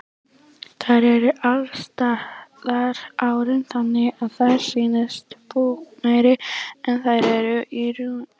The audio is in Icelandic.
Þær eru alsettar hárum þannig að þær sýnast búkmeiri en þær eru í raun.